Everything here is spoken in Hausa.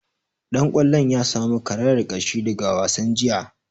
Dan kwallon ya samu karayar ƙashi daga wasan jiya